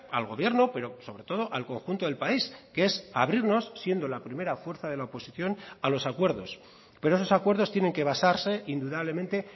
al gobierno pero sobre todo al conjunto del país que es abrirnos siendo la primera fuerza de la oposición a los acuerdos pero esos acuerdos tienen que basarse indudablemente